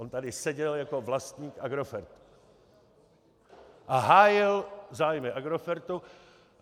On tady seděl jako vlastník Agrofertu a hájil zájmy Agrofertu.